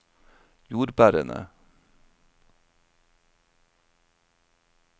jordbærene